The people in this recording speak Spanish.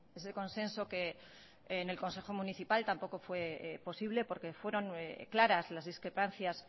ese consenso que en el consejo municipal tampoco fue posible porque fueron claras las discrepancias